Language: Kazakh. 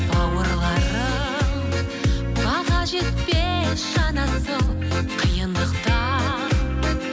бауырларым баға жетпес жан асыл қиындықтан